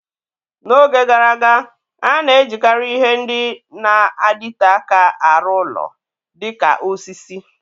N'oge gara aga, a na-ejikarị ihe ndị na-adịte aka arụ ụlọ, dịka osisi.